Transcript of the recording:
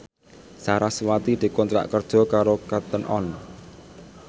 sarasvati dikontrak kerja karo Cotton On